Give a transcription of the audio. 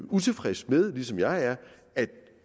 utilfreds med ligesom jeg er at